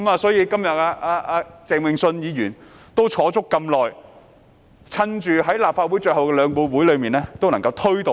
所以，鄭泳舜議員今天也坐了這麼久，把握立法會最後兩個會議加以推動。